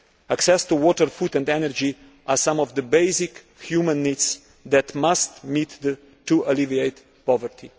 Access to water, food and energy are some of the basic human needs that must be met to alleviate poverty.